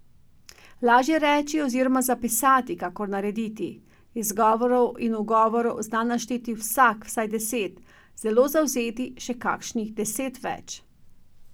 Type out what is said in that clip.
Lažje reči oziroma zapisati, kakor narediti, izgovorov in ugovorov zna našteti vsak vsaj deset, zelo zavzeti še kakšnih deset več.